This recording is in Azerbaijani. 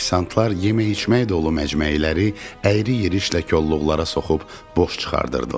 Ofisantlar yemək-içmək dolu məcməyiləri əyri-yirişlə kolluqlara soxub boş çıxardırdılar.